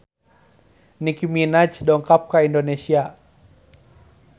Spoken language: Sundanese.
Nicky Minaj dongkap ka Indonesia